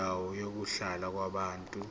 kwendawo yokuhlala yabantu